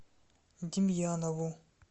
демьянову